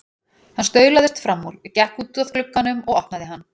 Hann staulaðist fram úr, gekk út að glugganum og opnaði hann.